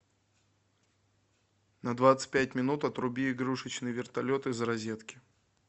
на двадцать пять минут отруби игрушечный вертолет из розетки